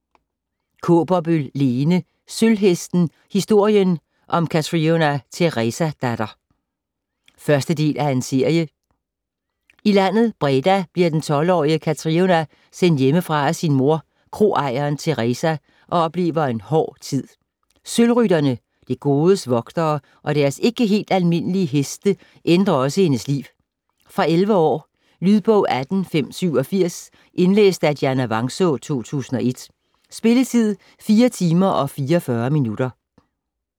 Kaaberbøl, Lene: Sølvhesten: historien om Katriona Teresadatter 1. del af serie. I landet Breda bliver den 12-årige Katriona sendt hjemmefra af sin mor, kroejeren Teresa, og oplever en hård tid. Sølvrytterne, det godes vogtere, og deres ikke helt almindelige heste ændrer også hendes liv. Fra 11 år. Lydbog 18587 Indlæst af Dianna Vangsaa, 2001. Spilletid: 4 timer, 44 minutter.